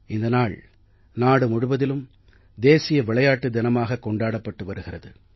இந்த நாள் நாடு முழுவதிலும் தேசிய விளையாட்டு தினமாகக் கொண்டாடப்பட்டு வருகிறது